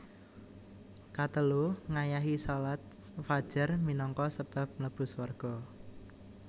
Katelu Ngayahi shalat fajar minangka sebab mlebu swarga